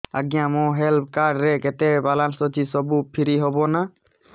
ଆଜ୍ଞା ମୋ health card ରେ କେତେ ବାଲାନ୍ସ ଅଛି ସବୁ ଫ୍ରି ହବ ନାଁ